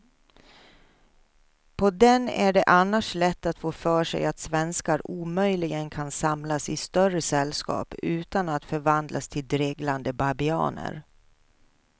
På den är det annars lätt att få för sig att svenskar omöjligen kan samlas i större sällskap utan att förvandlas till dreglande babianer.